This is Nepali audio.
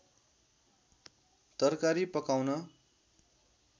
तरकारी पकाउन